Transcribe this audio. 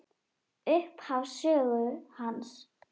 Upphaf sögu hans.